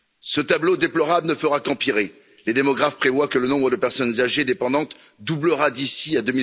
Ce tableau déplorable ne fera qu'empirer. Les démographes prévoient que le nombre de personnes âgées dépendantes doublera d'ici à